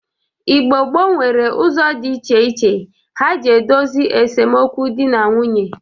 Igbo gboo nwere ụzọ dị iche iche ha ji edosi esemokwu dị na nwunye.